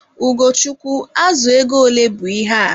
Ugochukwu, azụ ego ole bụ ihe a?